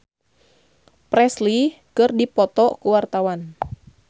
Addie MS jeung Elvis Presley keur dipoto ku wartawan